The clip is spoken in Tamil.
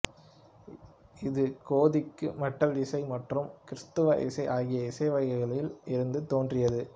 இது கோதிக்கு மெட்டல் இசை மற்றும் கிறித்துவ இசை ஆகிய இசைவகைகளில் இருந்து தோன்றியது